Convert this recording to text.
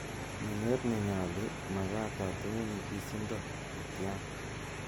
Meng'eet nenyoolu, Magaat atinye nyigisindo netyan.